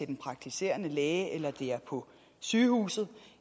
den praktiserende læge eller det er på sygehuset